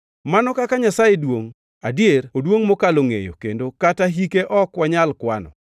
Mano kaka Nyasaye duongʼ, adier oduongʼ mokalo ngʼeyo kendo kata hike ok wanyal kwano.